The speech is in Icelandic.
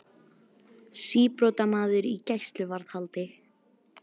Síbrotamaður í gæsluvarðhaldi